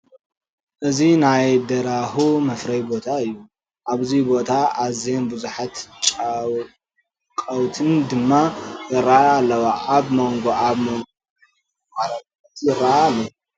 እዚ ናይ ደራሁ መፍረዪ ቦታ እዩ፡፡ ኣብዚ ቦታ ኣዝየን ብዙሓት ጫቋውት ድማ ይርአያ ኣለዋ፡፡ ኣብ ሞንጎ ኣብ ሞንጎ ናይ ምግቢ መቕረቢ ናውቲ ይርአ ኣሎ፡፡